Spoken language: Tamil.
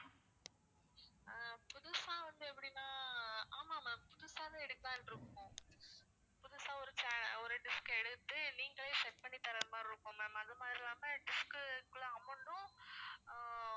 ஆஹ் புதுசா வந்து அப்படின்னா ஆமா ma'am புதுசாவே எடுக்கலான்னு இருக்கோம் புதுசா ஒரு channel ஒரு dish அ எடுத்து நீங்களே set பண்ணி தர்ற மாதிரி இருக்கும் ma'am அது மாதிரி இல்லாம dish க்குள்ள amount உம் ஆஹ்